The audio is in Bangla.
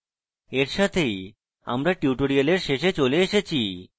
এই সাথেই আমরা tutorial শেষে চলে এসেছি